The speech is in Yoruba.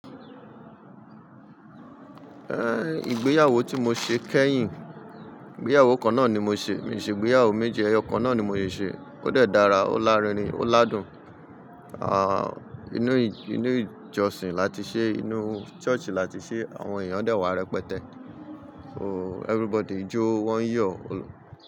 Ìgbéyàwó tí mo ṣe kẹ́yìn, ìgbéyàwó kan náà ni mo ṣe, mi ò ṣe ìgbéyàwó méjì, ẹyọ kan náà ni mo sì ṣe. Ó dẹ̀ dára, ó lárinrin, ó ládùn, inu i inú ìjọsìn láti ṣe inú ṣọ́ọ̀ṣì láti ṣe àwọn èèyàn dẹ̀ wá rẹpẹtẹ. Everybody jó, wọ́n yọ.